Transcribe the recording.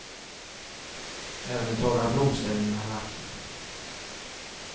Även de torra blomställningarna är vackra.